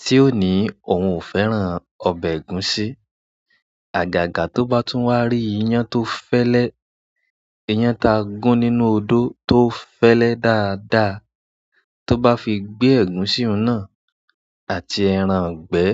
tí ó ní òun ò fẹ́ràn ọbẹ̀ ẹ̀gúsí. Àgàgà tó bá tún wá rí iyán tó fẹ́lẹ́, iyán ta gún nínú odó tó fẹ́lẹ́ dáadáa tó bá fi gbé ẹ̀gúsí náà àti ẹran ìgbẹ́.